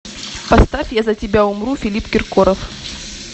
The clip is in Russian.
поставь я за тебя умру филипп киркоров